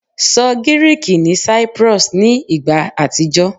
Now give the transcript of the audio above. Sọ Giriki ni Cyprus ni igba atijọ